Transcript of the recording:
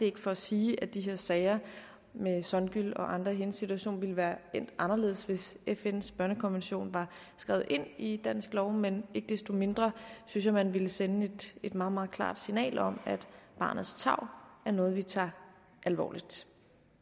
ikke for at sige at de her sager med songül og andre i hendes situation ville være endt anderledes hvis fns børnekonvention var skrevet ind i dansk lov men ikke desto mindre synes jeg man ville sende et meget meget klart signal om at barnets tarv er noget vi tager alvorligt